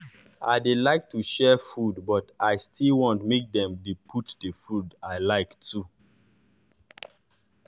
i dey like to share food but i still want make dem dey put d food i like too